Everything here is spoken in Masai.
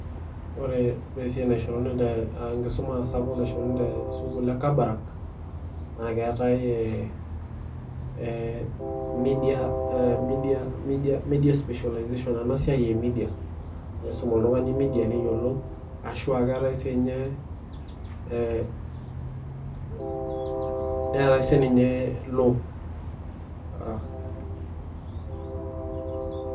Wore esiai naishoruni te enkisuma sapuk naishoruni te sukuul e kabarak, naa keetae media specialization ena siai e media naa iisum oltungani media neyiolou, ashu aa keetae siinye, neetae sininye law.